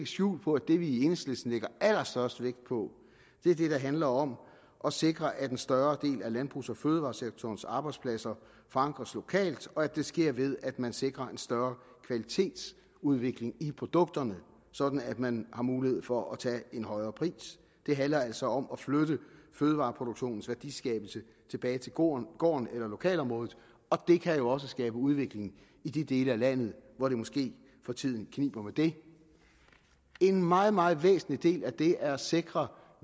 skjul på at det vi i enhedslisten lægger allerstørst vægt på er det der handler om at sikre at en større del af landbrugs og fødevaresektorens arbejdspladser forankres lokalt og at det sker ved at man sikrer en større kvalitetsudvikling i produkterne sådan at man har mulighed for at tage en højere pris det handler altså om at flytte fødevareproduktionens værdiskabelse tilbage til gården gården eller lokalområdet og det kan jo også skabe udvikling i de dele af landet hvor det måske for tiden kniber med det en meget meget væsentlig del af det er at sikre